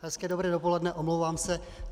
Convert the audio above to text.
Hezké dobré dopoledne, omlouvám se.